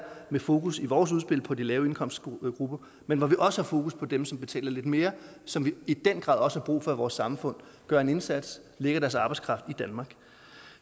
med fokus i vores udspil på de lave indkomstgrupper men hvor vi også har fokus på dem som betaler lidt mere som vi i den grad også har brug for i vores samfund gør en indsats lægger deres arbejdskraft i danmark